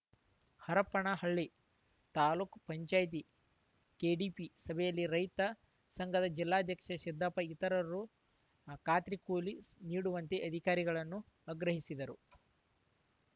Harapanahalli taluk panchayat KDP ಸಭೆಯಲ್ಲಿ ರೈತ ಸಂಘದ ಜಿಲ್ಲಾಧ್ಯಕ್ಷೆ ಸಿದ್ದಪ್ಪ ಇತರರು ಹ್ ಖಾತ್ರಿ ಕೂಲಿ ಶ್ ನೀಡುವಂತೆ ಅಧಿಕಾರಿಗಳನ್ನು ಆಗ್ರಹಿಸಿದರು